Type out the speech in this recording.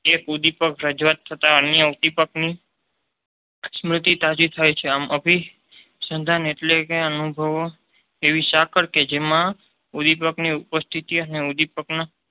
કે ઉદીપક રજુ થતા અન્ય ઉદીપકની સ્મૃતિ તાજી થાય છે. અભીસંધાન એટલે કે અનુભવો એવી સાંકળ કે જેમાં ઉદીપકની ઉપસ્થિતિ અને ઉદીપકના